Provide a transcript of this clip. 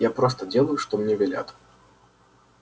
я просто делаю что мне велят